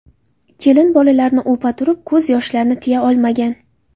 Kelin bolalarni o‘pa turib ko‘z yoshlarini tiya olmagan.